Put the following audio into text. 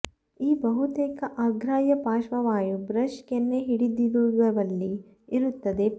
ಈ ಬಹುತೇಕ ಅಗ್ರಾಹ್ಯ ಪಾರ್ಶ್ವವಾಯು ಬ್ರಷ್ ಕೆನ್ನೆ ಹಿಡಿದಿಡುವಲ್ಲಿ ಇರುತ್ತದೆ ಫಾರ್